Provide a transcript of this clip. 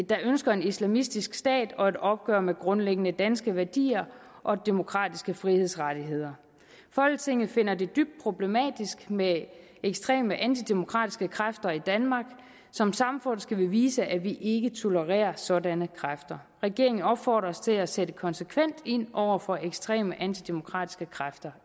der ønsker en islamistisk stat og et opgør med grundlæggende danske værdier og demokratiske frihedsrettigheder folketinget finder det dybt problematisk med ekstreme antidemokratiske kræfter i danmark som samfund skal vi vise at vi ikke tolererer sådanne kræfter regeringen opfordres til at sætte konsekvent ind over for ekstreme antidemokratiske kræfter